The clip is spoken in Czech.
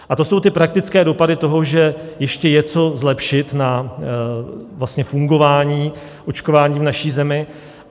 A to jsou ty praktické dopady toho, že ještě je co zlepšit na fungování očkování v naší zemi.